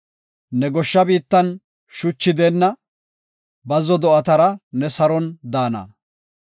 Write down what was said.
Ne goshsha biittan shuchi deenna; bazzo do7atara ne saron daana.